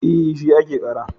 E, shi ake ƙara.